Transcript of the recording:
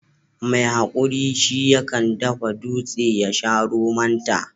mai hakuri shi ya kan dafa dutse ya sha romonta